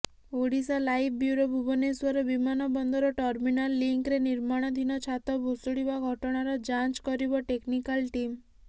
Odisha live bureau Bhubaneswar ବିମାନବନ୍ଦର terminal ଲିଙ୍କ୍ରେ ନିର୍ମାଣଧୀନ ଛାତ ଭୁଶୁଡ଼ିବା ଘଟଣାର ଯାଞ୍ଚ କରିବ ଟେକ୍ନିକାଲ ଟିମ୍